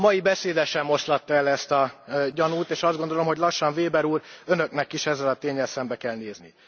A mai beszéde sem oszlatta el ezt a gyanút, és azt gondolom, hogy lassan, Weber úr, Önöknek is ezzel a ténnyel szembe kell nézni.